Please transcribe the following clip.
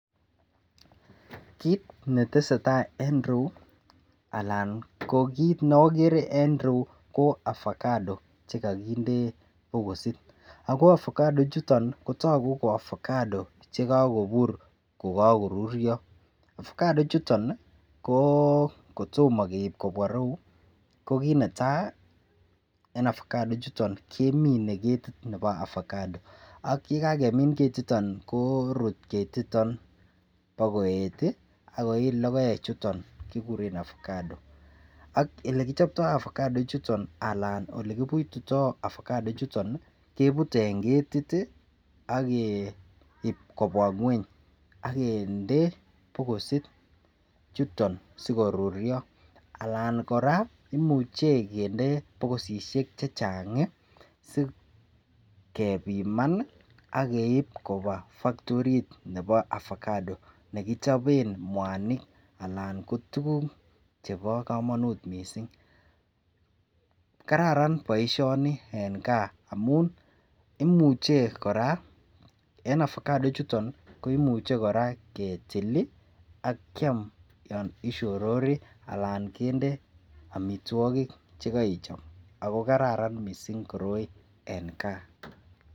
Kit netesetai en ireyu Alan ko kit neagere ko avocado chekakinde bokosit ako avocado ichuton Kotaku ko avocado chekakobir kokakorurio avocado ichuton ko kotomo keib kobwa irou kokit netai ko en avocado ichuton ko kemine ketit Nebo avocado ayekakemin ketiton korut ketiton bakoet akoyii logoek chuton kikuren avocado AK yelekichooto avocado ichuton ko Alan olekebutito en ketit akeib kobwa ngweny agende bokosit chuton sikorurio anan koraa koimuchi kende bokosisiek chechang sikepiman ageip Koba factori orit Nebo avocado nekichoben mwanik anan ko tuguk chebo kamanut mising kararan baishoni en gaa amun imuche koraa en avocado ichuton koimuche koraa ketil akiam olon ishorori Alan kende amitwagik chekaichop en gaa